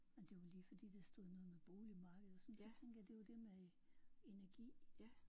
Men det var lige fordi der stod noget med boligmarked og sådan så tænkte jeg det var det med energi